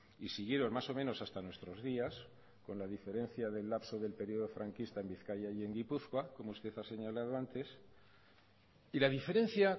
y siguieron más o menos hasta nuestros días con la diferencia del lapso del periodo franquista en bizkaia y en gipuzkoa como usted ha señalado antes y la diferencia